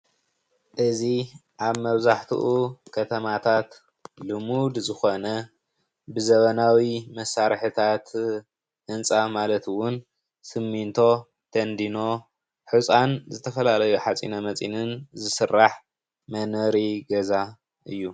እዚ ኣብ መብዛሕትኡ ከተማታት ልሙድ ዝኾነ ብዘበናዊ መሳርሕታት ህንጻ ማለት እዉን ስሚንቶ፣ ቴንዲኖ፣ ሑጻን ዝተፈላለዩ ሓጺነ መፂንን ዝስራሕ መንበሪ ገዛ እዩ።